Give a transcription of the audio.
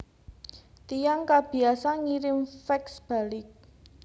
Tiyang kabiasa ngirim fax balik